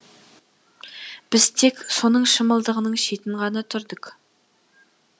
біз тек соның шымылдығының шетін ғана түрдік